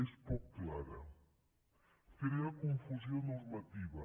és poc clara crea confusió normativa